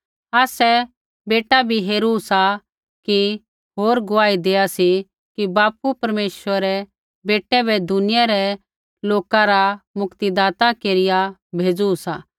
आसै बेटा बी हेरू सा कि होर गुआही देआ सी कि बापू परमेश्वरै बेटै बै दुनिया रै लोक रा मुक्तिदाता केरिया भेज़ू सा